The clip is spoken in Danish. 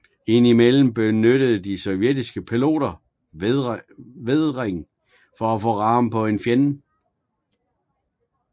Ind imellem benyttede de sovjetiske piloter vædring for at få ram på en fjende